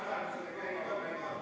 Mis nüüd?